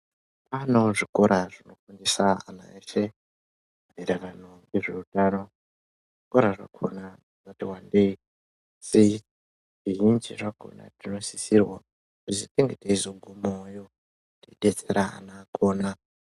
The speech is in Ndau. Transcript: Kwaanewo zvikora zvinofundisa ana eshe maererano nezveutano zvikora zvakona zvakati wandei zvizhinji zvakona tinosisrirwa kuti tinge teizogumayowo teidetsera ana kuona.